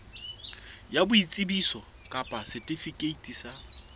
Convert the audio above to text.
ya boitsebiso kapa setifikeiti sa